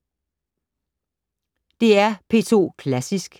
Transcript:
DR P2 Klassisk